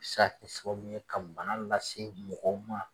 Se ka kɛ sababu ye ka bana lase mɔgɔw ma